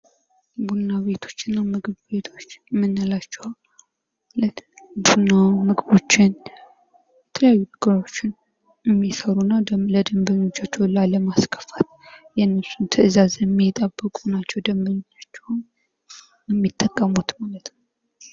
ቡና ቤቶችና ምግብ ቤቶች የምንላቸው ቡናዎችን ምግቦችን የተለያዩ ምግቦችን የሚሰሩና ለደበኞቻቸው ላለማስከፋት ትዛዝ የሚጠብቁ ናቸው። ደንበኞቻቸውን የሚጠቀሙትን ማለት ነው።